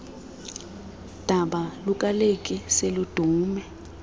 daba lukakeli seludume